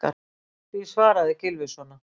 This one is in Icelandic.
Því svaraði Gylfi svona.